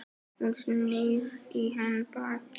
Hún snýr í hann baki.